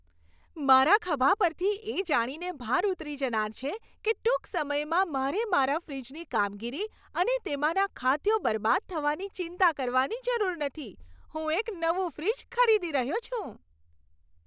મારા ખભા પરથી એ જાણીને ભાર ઉતરી જનાર છે કે ટૂંક સમયમાં મારે મારા ફ્રિજની કામગીરી અને તેમાંના ખાદ્યો બરબાદ થવાની ચિંતા કરવાની જરૂર નથી. હું એક નવું ફ્રિજ ખરીદી રહ્યો છું.